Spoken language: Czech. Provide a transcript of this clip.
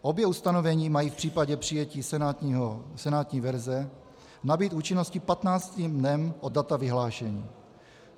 Obě ustanovení mají v případě přijetí senátní verze nabýt účinnosti patnáctým dnem od data vyhlášení.